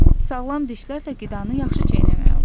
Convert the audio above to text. Sağlam dişlərlə qidanı yaxşı çeynəmək olur.